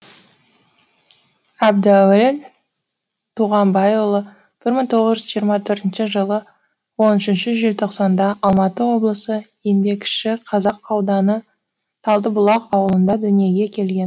әбдуәлі туғанбайұлы бір мың тоғыз жүз жиырма төртінші жылы он үшінші желтоқсанда алматы облысы еңбекшіқазақ ауданы талдыбұлақ ауылында дүниеге келген